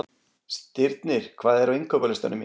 Stirnir, hvað er á innkaupalistanum mínum?